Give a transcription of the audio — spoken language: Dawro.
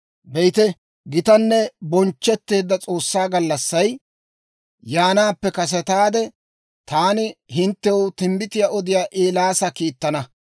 «Be'ite, gitanne bonchchetteedda s'oossaa gallassay yaanaappe kasetaade, taani hinttew timbbitiyaa odiyaa Eelaasa kiittana.